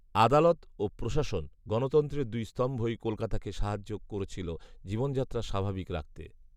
আদালত ও প্রশাসন, গণতন্ত্রের দুই স্তম্ভই কলকাতাকে সাহায্য করেছিল জীবনযাত্রা স্বাভাবিক রাখতে